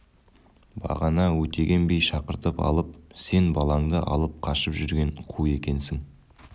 бағана өтеген би шақыртып алып сен балаңды алып қашып жүрген қу екенсің